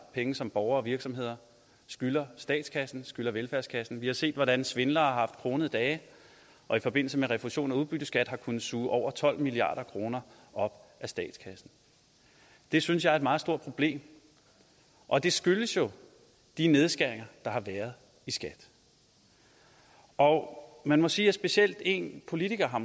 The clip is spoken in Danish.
penge som borgere og virksomheder skylder statskassen skylder velfærdskassen vi har set hvordan svindlere har haft kronede dage og i forbindelse med refusion af udbytteskat har kunnet suge over tolv milliard kroner op af statskassen det synes jeg er et meget stort problem og det skyldes jo de nedskæringer der har været i skat og man må sige at måske specielt en politiker har